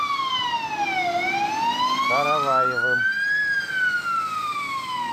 караваевым